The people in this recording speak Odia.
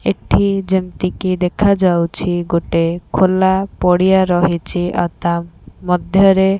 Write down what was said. ଏଠି ଯେମିତିକି ଦେଖାଯାଉଛି ଗୋଟେ ଖୋଲା ପଡ଼ିଆ ରହିଛି ଆଉ ତା ମଧ୍ୟରେ--